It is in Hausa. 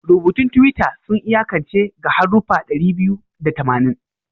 Rubutun Twitter sun iyakance ga haruffa ɗari biyu da tamanin